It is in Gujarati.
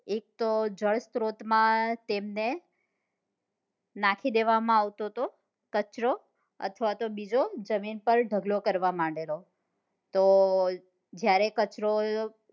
એક તો જળસ્રોત માં તેમને નાખી દેવા માં આવતો કચરો અથવા તો જમીન પર ઢગલો કરવા માંડેલો તો જયારે કચરો